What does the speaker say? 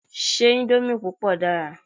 Ṣé íńdómì púpọ̀ dára?